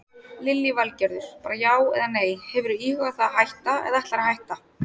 Lillý Valgerður: Bara já eða nei, hefurðu íhugað það að hætta eða ætlarðu að hætta?